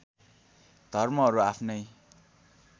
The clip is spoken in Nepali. धर्महरू आफ्नै